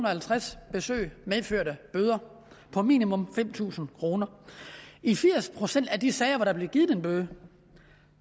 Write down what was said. og halvtreds besøg medførte bøder på minimum fem tusind kroner i firs procent af de sager hvor der blev givet en bøde